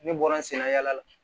Ne bɔra n sen na yaala la